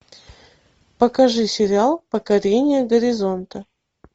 покажи сериал покорение горизонта